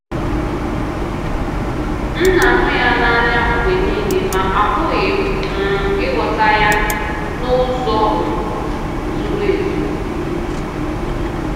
M na-ahụ ya n'anya mgbe nile ma apụghị um ịghọta ya n'ụzọ um zuru ezu.